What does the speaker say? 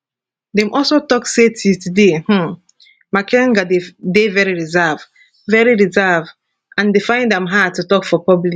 dem also tok say till today um makenga dey very reserved very reserved and dey find am hard to tok for public